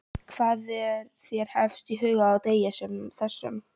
Hvað er þér efst í huga á degi sem þessum?